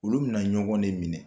Olu bɛna ɲɔgɔn de minɛ